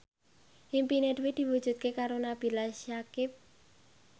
impine Dwi diwujudke karo Nabila Syakieb